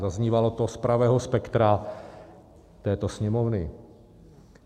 Zaznívalo to z pravého spektra této Sněmovny.